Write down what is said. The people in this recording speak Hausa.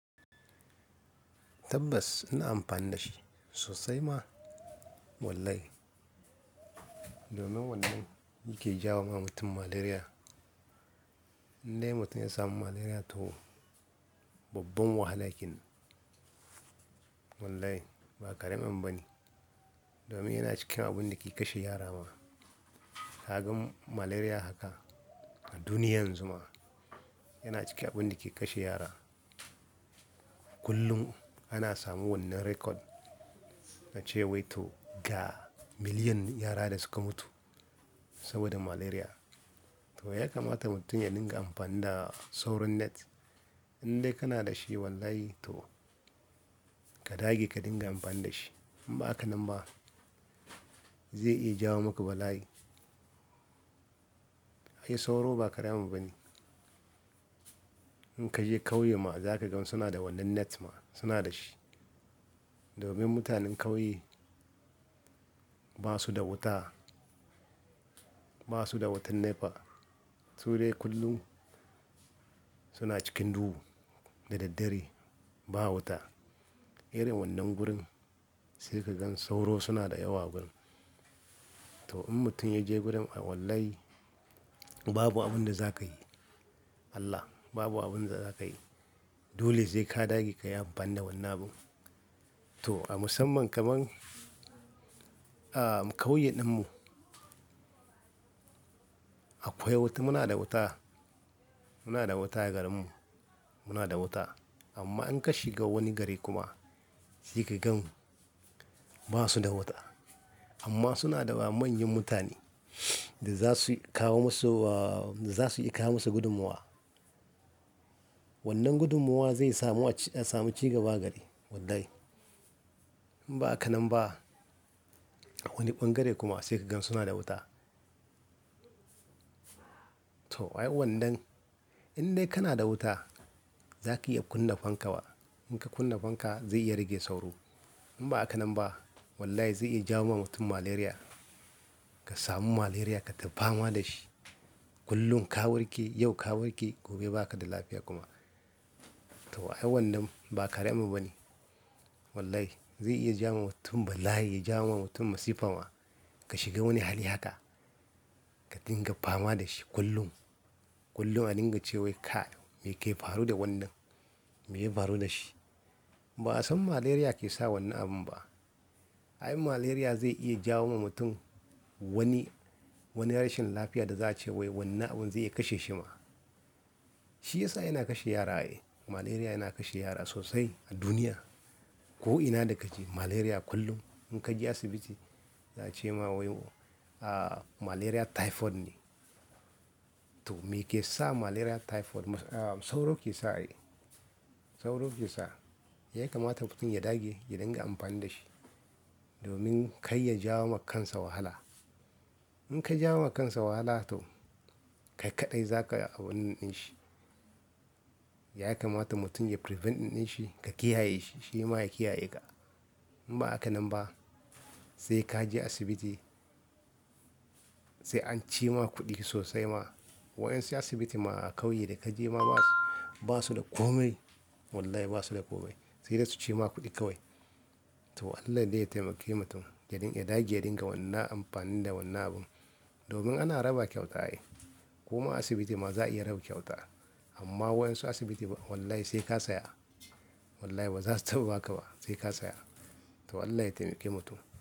Tabbas ina amfani da shi sosai ma. Wallahi, domin wannan yake jawo ma mutum malaria. Indai mutum ya samu malaria toh, babban wahala kenan. Wallahi ba kareman bane. Domin yana cikin abun da ke kashe yara ma. Ka gan malaria haka a duniya yanzu ma yana cikin abun da ke kashe yara. Kullum ana samun wannan record na cewa wai to ga million yara da suka mutu saboda malaria. Toh, ya kamata mutum yalinga amfani da sauro net. Indai kana da shi wallahi toh, ka dage ka dinga amfani da shi. In ba haka nan ba zai iya jawo maka bala'i. Ai sauro ba karema bane. In ka je ƙauye ma za ka ga suna da wannan net ma, suna da shi. Domin mutanen ƙauye ba su da wuta, ba su da wutar nefa. Su dai kullum suna cikin duhu da daddare ba wuta. Irin wannan gurin sai ka gan sauro suna da yawa a gurin. Toh in mutum ya je gurin a wallahi babu abin da za ka yi. Allah babu abin da za ka yi. Dole sai ka dage ka yi amfani da wannan abun. Toh a musamman kaman, a ƙauyen ɗinmu, akwai wuta muna da wuta. Muna da wuta a garinmu, muna da wuta. Amma in ka shiga wani gari kuma sai ka gan ba su da wuta. Amma suna da manyan mutane da za su kawo musu, za su iya kawo musu gudunmowa. Wannan gudumowa zai samu cigaba a gari wallahi. In ba haka nan ba, a wani ɓangare kuma sai ka gan suna da wuta. Toh ai wannan, indai kana da wuta za ki iya kunna fanka wa. In ka kunna fanka zai iya rage sauro. In ba haka nan ba wallahi zai iya jawo ma mutum malaria. Ka samu malaria kata fama da shi. Kullum ka warke, yau ka warke gobe ba ka da lafiya kuma. Toh ai wannan ba karemu bane. Wallahi zai iya jawo wa mutum bala'i, ya jawo wa mutum masifa ma. Ka shiga wani hali haka ka dinga fama da shi kullum. Kullum a dinga ce wai kai meke faru da wannan, me ya faru da shi. Ba a san malaria ke sa wannan abun ba. Ai malaria zai iya jawo ma mutum wani, wani rashin lafiya da za'a ce wai wannan abun zai iya kashe shi ma. Shi ya sa yana kashe yara ai. Malaria yana kashe yara sosai a duniya. Ko'ina da kaje malaria kullum in ka je asibiti za a ce ma wai ah malaria typhoid ne. Toh me ke sa malaria typhoid? Sauro ke sa ai. Sauro ke sa. Yayi kamata mutum ya dage ya dinga amfani da shi, domin kai ya jawo ma kansa wahala. In ka jawo ma kansa wahala toh, kai kaɗai za ka a wani ɗin shi. Ya kamata mutum yayi prevent ɗin shi, ka kiyaye shi shima ya kiyaye ka. In ba haka nan ba sai ka je asibiti, sai an ci ma kuɗi sosai ma. Wa'adansu asibiti ma a ƙauye da ka je ma ba su, ba su da komai. Wallahi ba su da komai. Sai dai su ci ma kuɗi kawai. Toh Allah de ya taimake mutum ya dage ya dinga wannan amfani da wannan abun. Domin ana raba kyauta ai. Kuma asibiti ma za a iya rabu kyauta. Amma wayansu asibiti wallahi sai ka saya. Wallahi ba za su taɓa baka ba sai ka saya. Toh Allah ya taimake mutum.